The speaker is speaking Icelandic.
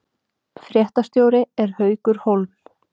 Fréttastjóri er Haukur Hólm